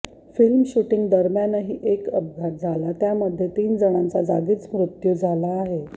film shooting दरम्यानही एक अपघात झाला त्यामध्ये तीन जणांचा जागीच मृत्यू झाला आहे